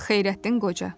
Xeyrəddin Qoca.